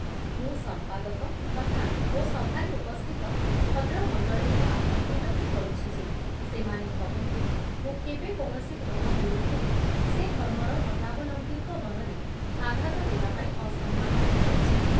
ମୁଁ ସଂପାଦକ ତଥା ମୋ ସଭାରେ ଉପସ୍ଥିତ ଭଦ୍ରମଣ୍ଡଳୀଙ୍କ ପାଖରେ ବିନତି କରୁଛି ଯେ ସେମାନେ କହନ୍ତୁ ମୁଁ କେବେ କୌଣସି ଧର୍ମ ବିରୁଦ୍ଧରେ ସେ ଧର୍ମର ମତାବଲମ୍ବୀଙ୍କ ମନରେ ଆଘାତ ଦେବାପାଇଁ ଅସମ୍ମାନରେ କହିଛି କି ।